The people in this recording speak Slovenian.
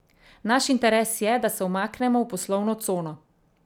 Naš interes je, da se umaknemo v poslovno cono.